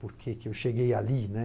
Por que que eu cheguei ali, né?